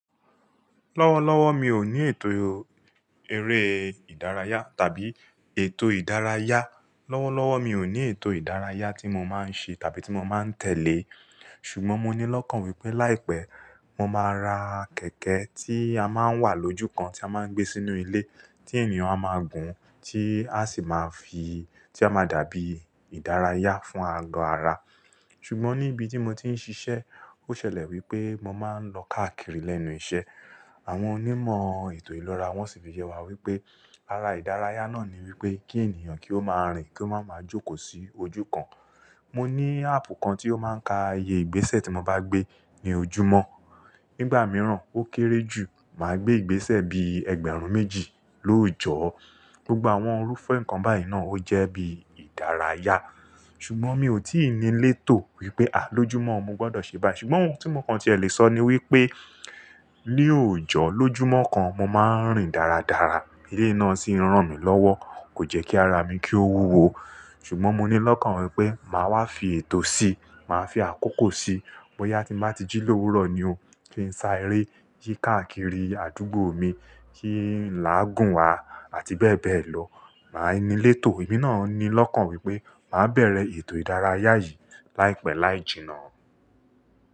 Lọ́wọ́lọ́wọ́ mi ò ní ètò eré ìdárayá tàbí ètò ìdárayá. Lọ́wọ́lọ́wọ́ mi ò ní ètò ìdárayá tí mo máa ń ṣe tàbí tí mo máa ń tẹ̀lé. Ṣùgbọ́n mo ní lọ́kàn wípé láìpẹ́, mo máa ra kẹ̀kẹ́ tí a máa ń wà lójúkan tí a máa ń gbé sínú ilé tí ènìyàn á máa gùn, tí a sì máa fi, tí a máa dàbí ìdárayá fún ago ara. Ṣùgbọ́n ní ibi tí mo ti ń ṣiṣẹ́, ó ṣẹlẹ̀ wípé mo máa ń lọ káàkiri lẹ́nu iṣẹ́. Àwọn onímọ̀ ètò ìlera wọ́n sì fi yẹ wá wípé ara ìdárayá náà ni wípé kí ènìyàn kí ó máa rìn, kí ó máa ma jókòó sí ojú kan. Mo ní áàpù kan tí ó máa ń ka iye ìgbésẹ̀ tí mo bá gbé ní ojúmọ́. Nígbà mìíràn ó kéré jù, màá gbé ìgbésẹ̀ bíi ẹgbẹ̀rún méjì lóòjọ́. Gbogbo àwọn orúfe nǹkan báyìí náà ó jẹ́ bí ìdárayá. Ṣùgbọ́n mi ò tí ì ní létò wípé à lójúmọ́ mo gbọdọ̀ ṣe báyìí. Ṣùgbọ́n ohun tí mo kan ti lè sọ ni wípé ní òjò lójúmọ́ kan mo máa ń rìn dáradára. Eléyi náà sì ń rán mi lọ́wọ́, kò jẹ́ kí ara mi kí ó wúwo. Ṣùgbọ́n mo ní lọ́kàn wípé màá wá fi ètò si, màá fi àkókò si. Bóyá tí n bàá ti jí lówu rọ ni o, kí n sá eré yí káàkiri àdúgbò mi, kí làá gùn wa àti bẹ́ẹ̀ bẹ́ẹ̀ lọ. Màá ní létò, èmi náà ní lọ́kàn wípé màá bẹ̀rẹ̀ ètò ìdárayá yìí láìpẹ́ láì jìnnà.